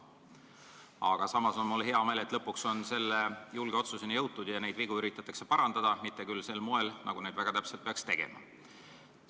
Aga samas on mul hea meel, et lõpuks on selle julge otsuseni jõutud ja neid vigu üritatakse parandada, mitte küll sel moel, nagu seda targalt toimides peaks tegema.